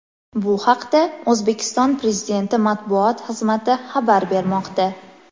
Bu haqda O‘zbekiston Prezidenti matbuot xizmati xabar bermoqda.